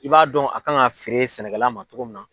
I b'a dɔn a kan ka feere sɛnɛkɛla ma cogo min na.